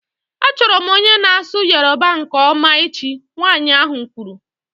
Achọrọ m onye na-asụ Yoruba nke ọma echi, nwanyị ahụ kwuru